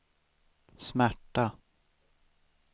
smärta